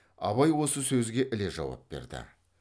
абай осы сөзге іле жауап берді